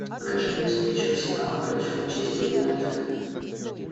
покажи мне встречу арсенала против манчестер юнайтед